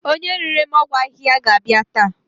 Onye rere m ọgwụ ahihia ga-abia ta